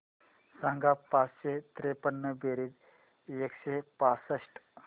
सांग पाचशे त्रेपन्न बेरीज एकशे पासष्ट